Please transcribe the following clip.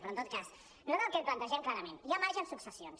però en tot cas nosaltres el que plantegem clarament hi ha marge en successions